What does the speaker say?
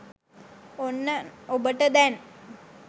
ඔන්න ඔබට දැන්